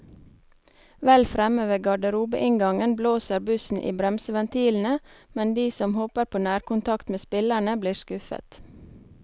Vel fremme ved garderobeinngangen blåser bussen i bremseventilene, men de som håper på nærkontakt med spillerne, blir skuffet.